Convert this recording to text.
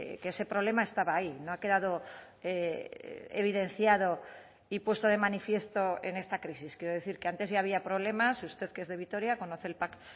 que ese problema estaba ahí no ha quedado evidenciado y puesto de manifiesto en esta crisis quiero decir que antes ya había problemas usted que es de vitoria conoce el pac